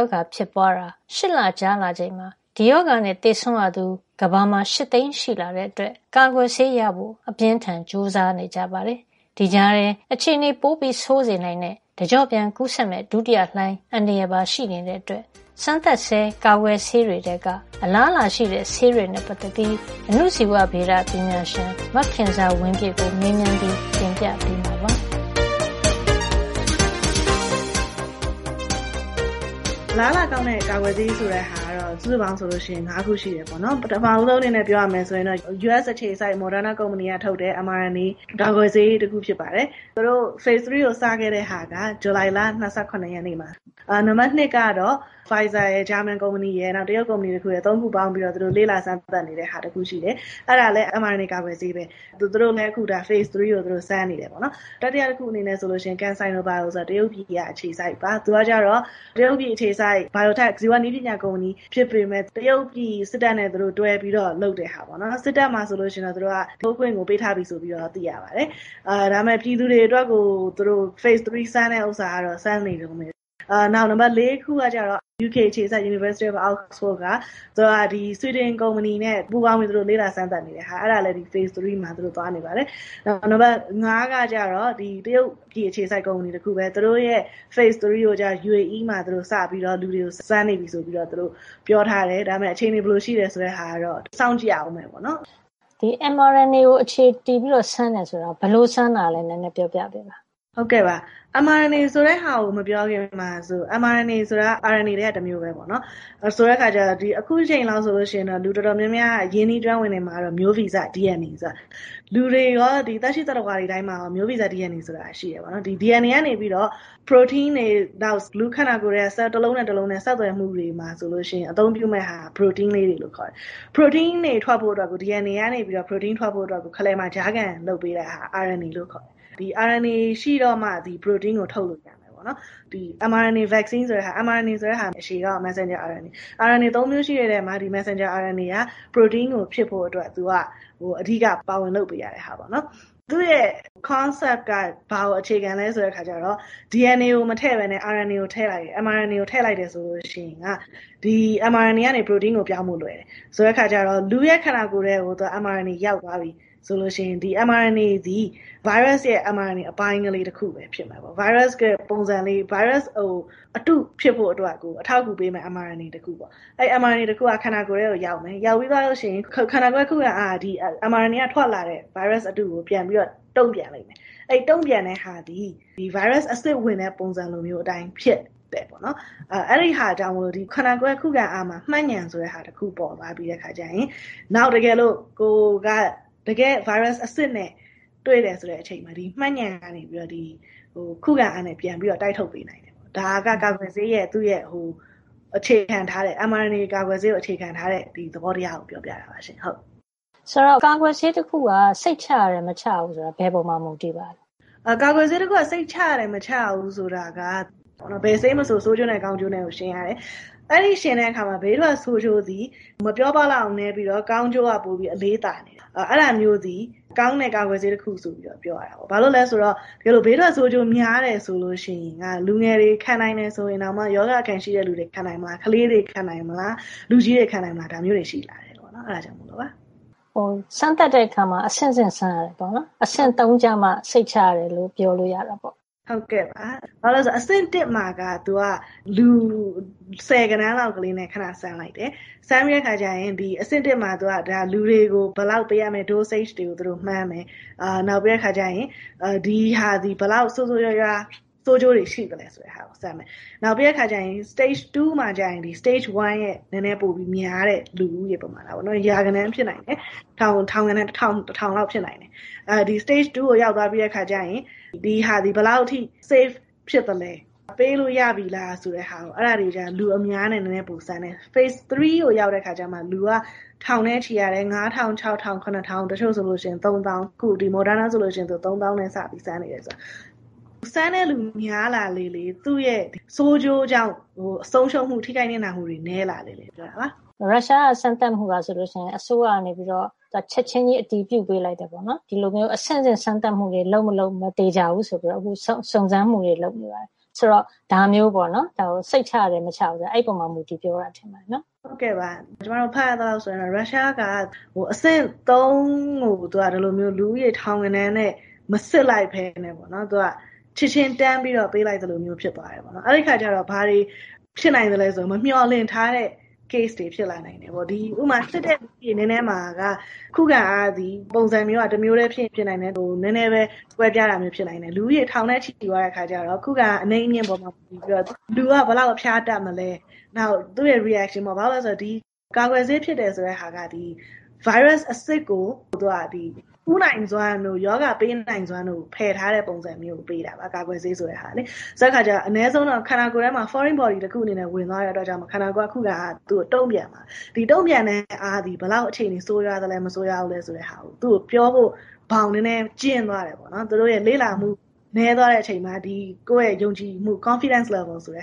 ောဂါ ဖြစ်ပွါးတာ ရှစ်လကြာလာချိန်မှာ ဒီရောဂါနဲ့ သေဆုံးရသူ ကမ္ဘာမှာ ၈ သိန်းရှိလာတဲ့အတွက် ကာကွယ်ဆေးရဖို့ အပြင်းအထန် ကြိုးစားနေကြပါတယ်။ ဒီကြားထဲအခြေနေပိုဆိုးစေနိုင်တဲ့ တကျော့ပြန် ကူးစက်မယ့် ဒုတိယလှိုင်း အန္တရာယ်ပါ ရှိနေတာကြောင့် စမ်းသပ်ဆဲ ကာကွယ်ဆေးတွေထဲက အလားအလာ ရှိတဲ့ ဆေးတွေနဲ့ ပတ်သက်ပြီး အဏုဇီဝဗေဒ ပညာရှင် မခင်ဇာဝင်းပြည့်ကို မေးမြန်းပြီး တင်ပြပေးမှာပါ။ “အလားအလာကောင်းတဲ့ ကာကွယ်ဆေး ဆိုတာကတော့ စုစုပေါင်း ၅ ခုရှိတယ် ပေါ့နော်။ ပထမဆုံး အနေနဲ့ ဆိုရင်တော့ US အခြေစိုက် Moderna ကုမ္ပဏီက ထုတ်တဲ့ MRNA ကာကွယ်ဆေး တခု ဖြစ်ပါတယ်။ သူတို့ phase 3 ကို စခဲ့တာက ဇူလိုင်လ ၂၇ ရက်နေ့မှာ။ ပြီးတော့ နံပတ် ၂ ကတော့ Pfizer ရယ်၊ ဂျာမန်ကုမ္ပဏီရယ် နောက် တရုတ် ကုမ္ပဏီ တခုရယ် သူတို့ ၃ ခုပေါင်းပြီးတော့ လေ့လာစမ်းသပ် နေတာတခုရှိတယ်။ အဲဒါလည်း MRNA ကာကွယ်ဆေးပဲ။ သူတို့လည်း အဆင့် ၃ ကို အခု စပြီးတော့ စမ်းနေတယ် ပေါ့နော်။ တတိယ တခုကတော့ CanSinoBIO ဆိုတာ တရုတ်အခြေစိုက်ပါ။ သူက တရုတ်ပြည် အခြေစိုက် ဇီဝနည်းပညာ ကုမ္ပဏီ ဖြစ်ပေမယ့် တရုတ်ပြည်စစ်တပ်နဲ့ တွဲပြီးလုပ်တဲ့ဟာပေါ့နော်။ စစ်တပ်မှာ ဆိုရင်တော့ ထိုးခွင့် ပေးလိုက်ပြီလို့ သိရပါတယ်။ ဒါပေမယ့် ပြည်သူ တွေ အတွက်တော့ အဆင့် ၃ စမ်းသပ်တာက စမ်းနေတုန်းပဲ။ နောက်တခု နံပါတ် ၄ ကကျတော့ ယူကေ အခြေစိုက် University of Oxford က သူက ဆွီဒင်ကုမ္ပဏီနဲ့ ပူးပေါင်းပြီးတော့ လေ့လာစမ်းသပ်နေတဲ့ဟာ။ အဲဒါလည်း အဆင့် ၃ မှာ သွားနေပါတယ်။ နောက် နံပတ် ၅ ကကျတော့ တရုတ်ပြည် အခြေစိုက် ကုမ္ပဏီ တခုပဲ။ သူတို့ရဲ့. အဆင့် ၃ စမ်းသပ်တာကိုတော့ UAE မှာ စပြီးတော့ လူတွေကို စမ်းနေပြီလို့ ပြောထားတယ်။ ဒါပေမယ့် အခြေနေ ဘယ်လိုရှိမယ် ဆိုတာကိုတော့ စောင့်ကြည့်ရအုံးမှာပေါ့။ ” “ဒီ MRNA ကို အခြေတည်ပြီးတော့ စမ်းတယ် ဆိုတာ ဘယ်လိုစမ်းတာလဲ ပြောပြပေးပါ။” “ ဟုတ်ကဲ့ပါ။ MRNA ဆိုတာကို မပြောခင်မှာ. ဒီ MRNA ဆိုတာက RNA ထဲက တမျိုးပဲ ပေါ့နော်။ ဆိုတဲ့အခါ ကျတော့၊ အခုအချိန်လောက်ဆို လူတော်တော်များများက ရင်းနှီးကျွမ်းဝင်နေမှာက မျိုးဗီဇ DNA ပေါ့။ လူတွေရော ဒီသက်ရှိ သတ္တဝါတွေ တိုင်းမှာရော ဒီမျိုးဗီဇ DNA ဆိုတာက ရှိတယ်ပေါ့နော်။ ဒီ DNA ကနေပြီးတော့ ပရိုတိန်းတွေ၊ နောက် လူ့ခန္ဓာကိုယ်ထဲက ဆဲလ် တလုံးနဲ့ တလုံး ဆက်သွယ်မှု တွေမှာ ဆိုလို့ရှိရင် အသုံးပြုမယ့်ဟာက. ပရိုတိန်းလေးတွေလို့ ခေါ်တယ်။ ပရိုတိန်းတွေ ထွက်ဖို့အတွက်ကို DNA ကနေ ပရိုတိန်း ထွက်ဖို့အတွက်ကို ခလယ်မှာ ကြားခံလုပ်ပေးရတာက RNA လို့ခေါ်တယ်။ ဒီ RNA ရှိတော့မှာ ပရိုတိန်းကို ထုတ်လို့ ရတာပေါ့နော်။ MRNA ကာကွယ်ဆေးဆိုတာက - MRNA ရဲ့ အရှည်ကောက်က မက်ဆင်ဂျာ RNA။ ဒီ RNA ၃ မျိုးရှိတဲ့ထဲမှာ ဒီ မက်ဆင်ဂျာ RNA က ပရိုတိန်း ဖြစ်ဖို့ အတွက် အဓိက ပါဝင် လုပ်ပေးရတဲ့ ဟာပေါ့နော်။ သူ့ရဲ့ concept က ဘာကို အခြေခံလဲ ဆိုတော့ DNA ကို မထည့်ပဲနဲ့ MRNA ကို ထည့်လိုက်မယ် ဆိုရင် ဒီ MRNA က ပရိုတိန်းကို ပြောင်းဖို့ လွယ်တယ်။ ဆိုတဲ့အခါ ကျတော့ လူရဲ့ ခန္ဓာကိုယ်ထဲကို MRNA ရောက်သွားပြီဆိုရင် ဒီ MRNA သည် ဗိုင်းရပ်စ်ရဲ့ MRNA အပိုင်းကလေးပဲ ဖြစ်မယ်။ ဗိုင်းရပ်စ်ရဲ့ ပုံစံလေး၊ ဗိုင်းရပ်စ် အတု ဖြစ်ဖို့ အတွက် အထောက်အကူပေးမယ့် MRNA လေးတခုပေါ့။ အဲဒီ MRNA တခုက ခန္ဓာကိုယ်ထဲကို ရောက်မယ်၊ ရောက်ပြီးသွားလို့ ရှိရင် ခန္ဓာကိုယ်ရဲ့ ခုခံအားက ဒီ MRNA ကထွက်လာတဲ့ ဗိုင်းရပ်စ် အတုကို ပြန်ပြီးတော့ တုန့်ပြန်လိမ့်မယ်။ အဲဒီ တုန့်ပြန်တဲ့ဟာသည် ဒီ ဗိုင်းရပ်စ် အစစ်ဝင်တဲ့ ပုံစံလိုမျိုး အတိုင်း ဖြစ်ပျက်မယ် ပေါ့နော်။ အဲဒါကြောင့် မို့လို့ ဒီခန္ဓာကိုယ်ရဲ့ ခုခံအားမှာ မှတ်ဉာဏ် ဆိုတဲ့ဟာ တခု ပေါ်လာပြီးတဲ့ အခါ ကျရင်၊ နောက် တကယ်လို့ ကိုယ်က တကယ့် ဗိုင်းရပ်စ် အစစ်နဲ့ တွေ့တဲ့ အချိန်မှာ ဒီမှတ်ဉာဏ် ကနေပြီးတော့ ဒီ ခုခံအားနဲ့ ပြန် တိုက်ထုတ်ပေးတာပေါ့။ ဒါက ကာကွယ်ဆေးရဲ့ သူ့ရဲ့ အခြေခံထားတဲ့ ဒီ MRNA ကာကွယ်ဆေးကို အခြေခံထားတဲ့ သဘောတရားကို ပြောပြတာပါ။ ” “ဆိုတော့ ကာကွယ်ဆေး တခု စိတ်ချရတယ်၊ မချရဘူး ဆိုတာ ဘယ်ပေါ်မှာ မူတည်ပါသလဲ။” “ကာကွယ်ဆေးတခု စိတ်ချရတယ်၊ မချရဘူး ဆိုတာက ၊ ဘယ်ဆေးမဆို ဆိုးကျိုးနဲ့ ကောင်းကျိုးနဲ့ ကို ယှဉ်ရတယ်။ အဲဒီလို ယှဉ်တဲ့အခါမှာ ဘေးထွက် ဆိုးကျိုးသည် မပြောပလောက်အောင်နဲပြီးတော့ ကောင်းကျိုးက ပိုပြီးတော့ အလေးသာတယ် ဆိုရင် အဲဒါမျိုးသည် ကောင်းတဲ့ ကာကွယ်ဆေးတခု ဆိုပြီးတော့ ပြောရတာပေါ့။ ဘာလို့လည်း ဆိုတော့ ဘေးထွက်ဆိုးကျိုး များတယ်ဆိုရင်က လူငယ်တွေ ခံနိုင်တယ်ဆိုရင်တောင်မှ ရောဂါအခံရှိသူတွေ ခံနိုင်မလား၊ ကလေးတွေ ခံနိုင်မလား။ လူကြီးတွေ ခံနိုင်မလား ဒါမျိုးတွေ ရှိလာတယ် ပေါ့နော်။ အဲဒါ အတွက်ကြောင့် မို့လို့ပါ။” “စမ်းသပ်တဲ့ အခါမှာ အဆင့်ဆင့် စမ်းရတယ် ပေါ့နော်။ အဆင့် ၃ ကျမှ စိတ်ချရတယ်လို့ ပြောလို့ ရတာပေါ့။” “ဟုတ်ကဲ့ပါ။ ဘာလို့လည်း ဆိုတော့ အဆင့် ၁ မှာက သူက လူ ဆယ်ဂဏန်းလောက်ကလေးနဲ့ ခဏ စမ်းလိုက်တယ်။ စမ်းတဲ့အခါကျရင် အဆင့် ၁ မှာက လူတွေကို ဆေးဘယ်လောက် ပေးရမလဲ ဆိုတဲ့ dosage တွေ သူတို့မှန်းတယ်။ နောက်ပြီး ဒီဟာသည် ဆိုးဆိုးဝါးဝါး ဆိုးကျိုးတွေ ရှိသလဲ ဆိုတာကို စမ်းတာ။ နောက်ပြီး အဆင့် ၂ မှာဆို အဆင့် ၁ မှာထက် နဲနဲပိုပြီး များတဲ့ လူဦးရေ ပမာဏ ပေါ့နော် ရာဂဏန်း ဖြစ်နိုင်တယ်။ ထောင်ဂဏန်း တထောင်လောက် ဖြစ်နိုင်တယ်။ အဲဒီ အဆင့် ၂ ကိုရောက်သွားပြီ ဆိုရင် ဒီဟာသည် ဘယ်လောက်အထိ စိတ်ချရပြီလဲ safe ဖြစ်သလဲ။ ပေးလို့ရပြီလား၊ ဆိုတဲ့ဟာကို အဲဒါကျရင် လူအများ နဲ့ နဲနဲ ပိုစမ်းတဲ့ဟာ။ အဆင့် ၃ ကိုရောက်တဲ့ အခါကျ လူက ထောင်နဲ့ချီ ရတယ်။ ၅၀၀၀ - ၆၀၀၀ - ၇၀၀၀ တချို့ ၃ သောင်း။ အခုဒီ Moderna ဆိုရင် သူက ၃ သောင်းနဲ့စပြီး စမ်းသပ်နေတယ်လို့ ပြောတယ်။ စမ်းတဲ့ လူများလာလေလေ သူ့ရဲ့ ဆိုးကျိုးကြောင့် ဆုံးရှုံးမှု၊ ထိခိုက် နစ်နာမှု တွေ နဲလာလေလေ ပေါ့နော်။” “ရုရှားက စမ်းသပ်မှုက ဆိုလို့ရှိရင် အစိုးရကနေ ချက်ချင်းကြီး အတည်ပြုပေးလိုက်တယ်၊ ဒီလိုမျိုး အဆင့်ဆင့် စမ်းသပ်မှုတွေ လုပ်မလုပ် မသေချာဘူး ဆိုပြီးတော့ အခု စုံစမ်းမှုတွေ လုပ်နေရတယ်။ ဆိုတော့ ဒါမျိုးပေါ့နော်။ စိတ်ချရတယ် မချရဘူး ဆိုတာ အဲဒါပေါ်မှာ မူတည်ပြောတာလား။” “ဟုတ်ကဲ့ပါ။ ကျမတို့ ဖတ်ရသလောက် ဆိုရင်တော့ ရုရှားက အဆင့် ၃ ကို သူက ဒီလိုမျိုး လူဦးရေ ထောင်ဂဏန်းနဲ့ မစစ်လိုက်ပဲနဲ့ ချက်ချင်း တန်းပြီးတော့ ပေးလိုက်သလိုမျိုး ဖြစ်သွားတယ် ပေါ့နော်။ အဲဒီအခါ ကျတော့. ဘာတွေ ဖြစ်နိုင်သလဲ ဆိုတော့ မေ ျှာ်လင့်မထားတဲ့ case တွေ ဖြစ်လာနိုင်တယ် ပေါ့နော်။ ဥပမာ ဒီ စစ်တဲ့ လူစာရင်းထဲမှာက ခုခံအားသည် ပုံစံမျိုးက တမျိုးထဲ ဖြစ်ချင် ဖြစ်နိုင်တယ်။ နဲနဲပဲ ကွဲပြားတာမျိုး ဖြစ်နိုင်တယ်။ လူဦးရေ ထောင်နဲ့ချီ သွားတဲ့ အခါ ကျတော့ ခုခံအား အနိမ့်အမြင့် ပေါ်မှာ မူတည်ပြီးတော့ လူက အဖျား ဘယ်လောက် တက်မလဲ။ နောက် သူ့ရဲ့ reaction တုန့်ပြန်မှုပေါ့။ ဘာလို့လည်း ဆိုတော့ ဒီ ကာကွယ်ဆေး ဖြစ်တယ် ဆိုတာက ဗိုင်းရပ်စ် အစစ်ကို သူက ကူးနိုင်စွမ်းတို့ ရောဂါပေးနိုင်စွမ်း တို့ကို ဖယ်ထားတဲ့ ပုံစံမျိုးကို ပေး တာ ပေါ့နော်။ ရောဂါ ကာကွယ်ဆေး ဆိုတာက။ ဆိုတော့ အနဲဆုံးတော့ ခန္ဓာကိုယ်ထဲမှာ foreign body တခု အနေနဲ့ ဝင်သွားတဲ့ အတွက်ကြောင့် မို့လို့ ခန္ဓာကိုယ်က ခုခံအားက သူ့ကို တုန့်ပြန်တယ်။ ဒီတုန့်ပြန်တဲ့အားသည် သူ့ကို အခြေနေ ဘယ်လောက်အထိ ဆိုးသွား နိုင်သလဲ၊ ဆိုကာ သူ့ကို ပြောဖို့ ဘောင်နဲနဲ ကျဉ်းသွားတယ် ပေါ့နော်။ သူတို့ရဲ့ လေ့လာမှု နဲသွားတဲ့ အချိန်မှာ ကိုယ့်ရဲ့ ယုံကြည်မှု confidence level နဲ